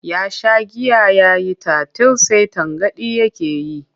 Ya sha giya ya yi tatil sai tangaɗi take yi.